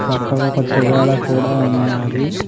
పక్కకు ఒక తువాల కూడా ఉన్నాది.